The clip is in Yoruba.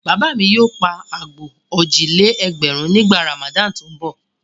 Bàbá mi yóò pa àgbò òjì-lé-ẹgbẹ̀rún nígbà Ramadan tó ń bọ̀.